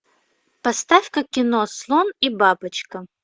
поставь ка кино слон и бабочка